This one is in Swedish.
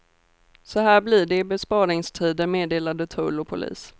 Så här blir det i besparingstider, meddelade tull och polis.